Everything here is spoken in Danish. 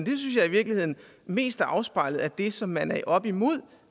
synes jeg i virkeligheden mest er afspejlet i det som man er oppe imod